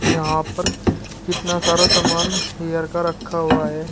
यहां पर कितना सारा सामान हेयर का रखा हुआ है।